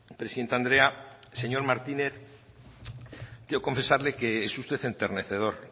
presidente andrea señor martínez quiero confesarle que es usted enternecedor